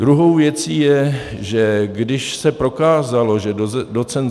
Druhou věcí je, že když se prokázalo, že doc.